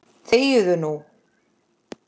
ÞEGIÐU NÚ!